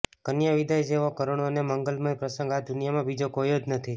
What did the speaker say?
કન્યા વિદાય જેવો કરૃણ અને મંગલમય પ્રસંગ આ દુનિયામાં બીજો કોઈ જ નથી